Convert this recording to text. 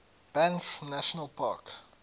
banff national park